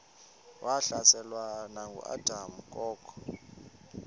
wahlaselwa nanguadam kok